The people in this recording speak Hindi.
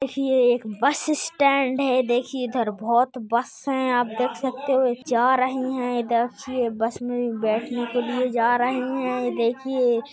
ही एक बस स्टैंड है देखिये इधर बहुत बस है आप देख सकते हो जा रही है बस में भी बेठने के लिए जा रहे है ये देखिये --